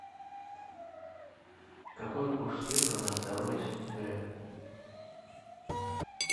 какой курс евро на второе сентября